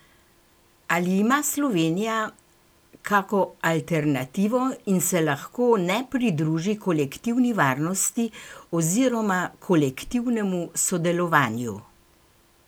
Ali ima Slovenija kako alternativo in se lahko ne pridruži kolektivni varnosti oziroma kolektivnemu sodelovanju?